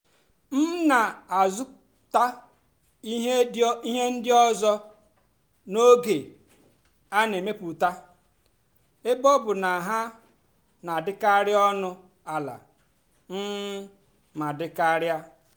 m nà-àzụ́tá íhé ndí ọ́zọ́ n'ógè á nà-èmepụ́tá ébé ọ́ bụ́ ná hà nà-àdì́karị́ ónú àlà um mà dì́ kàrị́á.